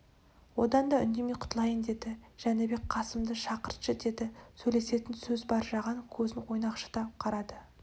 одан да үндемей құтылайын деді жәнібек қасымды шақыртшы деді сөйлесетін сөз бар жаған көзін ойнақшыта қарады